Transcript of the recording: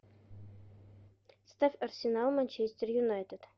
ставь арсенал манчестер юнайтед